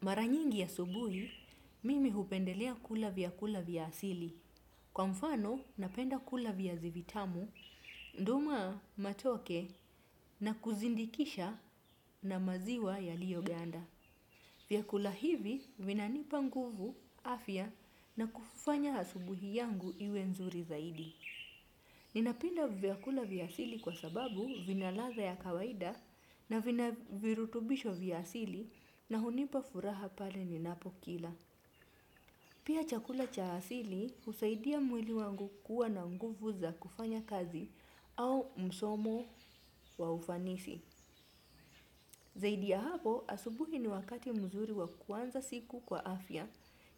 Mara nyingi asubuhi, mimi hupendelea kula vyakula vya asili. Kwa mfano, napenda kula viazi vitamu, nduma, matoke, na kuzindikisha na maziwa yaliyoganda. Vyakula hivi, vinanipa nguvu, afya, na kufanya asubuhi yangu iwe nzuri zaidi. Ninapenda vyakula vya asili kwa sababu vina ladhaa ya kawaida na vina virutubisho vya asili na hunipa furaha pale ninapokila. Pia chakula cha asili husaidia mwili wangu kuwa na nguvu za kufanya kazi au msomo wa ufanisi. Zaidi ya hapo, asubuhi ni wakati mzuri wa kuanza siku kwa afya,